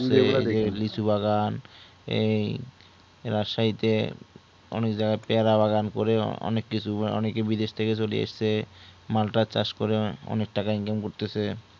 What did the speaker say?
লিচুবাগান এই রাসাইতে অনেক জাগা পিয়ারাবাগান করে অনেক কিছু অনেকে বিদেশ থেকে চলি আসছে মাল্টার চাষ করে অনেক টাকা income করতেসে